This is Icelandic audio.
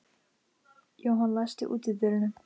Jóhann, læstu útidyrunum.